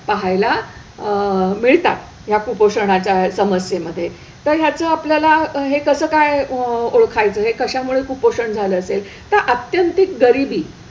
पहायला अह मिळतात ह्या कुपोषणाच्या समस्येमध्ये. तर ह्याचं आपल्याला हे कसं काय अह ओळखायचं हे कशामुळे कुपोषण झालं ते, तर आत्यंतिक गरिबी,